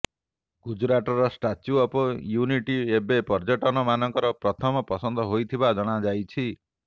ଗୁଜୁରାଟର statue of unity ଏବେ ପର୍ଯ୍ୟଟକମାନଙ୍କର ପ୍ରଥମ ପସନ୍ଦ ହୋଇଥିବା ଜଣାଯାଇଛି